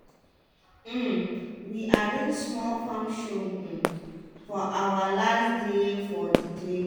um we arrange small farm show um for awa last day for di training.